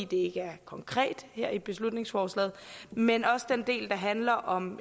det ikke er konkret her i beslutningsforslaget men også den del der handler om